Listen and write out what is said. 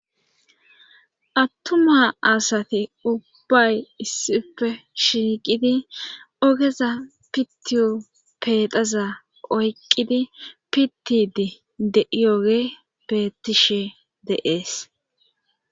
attuma asati ubbay issife shiiqidi ogeza pitiyo pexaza oyqqidi pittidi de'iyogeyi bettishe de'ees